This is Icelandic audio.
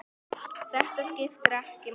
Þetta skiptir ekki máli.